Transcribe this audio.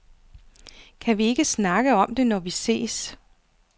Kan vi ikke snakke om det, når vi ses?